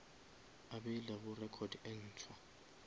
a beilego record e ntshwa